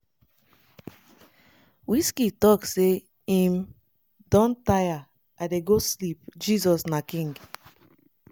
wizkid tok say im "don tire i dey go sleep 😂 jesus na king."